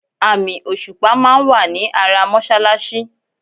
Àmì òṣùpà máa wà ní ara mọ́ṣáláṣí.